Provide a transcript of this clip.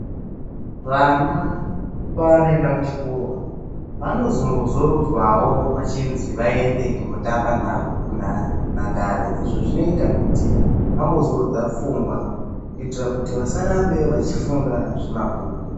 Vana pavanoenda kuchikora vanozombozorodzwavo vachinzi vaende kundotamba nhabvu kunhandare. lzvi zvinoitirwa kuti vambozorodza pfungwa vasarambe vachifunga zvemabhuku.